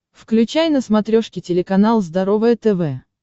включай на смотрешке телеканал здоровое тв